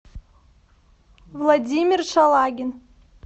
владимир шалагин